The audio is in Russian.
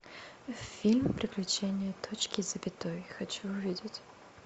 фильм приключения точки и запятой хочу увидеть